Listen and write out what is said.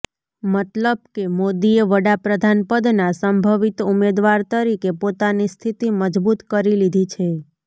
મતલબ કે મોદીએ વડાપ્રધાન પદના સંભવિત ઉમેદવાર તરીકે પોતાની સ્થિતિ મજબૂત કરી લીધી છે